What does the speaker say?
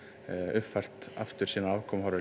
uppfært sínar afkomuhorfur